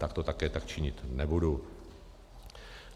Tak to také tak činit nebudu.